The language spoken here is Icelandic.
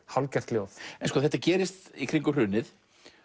hálfgert ljóð þetta gerist í kringum hrunið